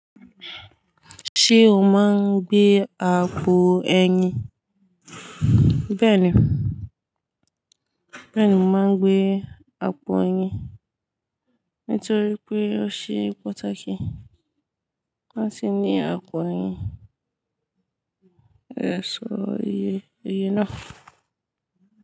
Ṣé o máa ń gbé àpò eyín? Bẹ́ẹ̀ni, bẹ́ẹ̀ni mo máa ń gbé àpò eyín. Nítorí pé ó ṣe pàtàkì láti ní àpò eyín gba èso iye, iye náà.